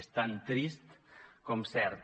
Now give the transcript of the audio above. és tan trist com cert